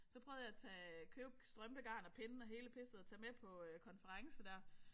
Så prøvede jeg at tage købe strømpegarn og pinde og hele pisset og tage med på konference der